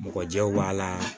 Mɔgɔ jɛw b'a la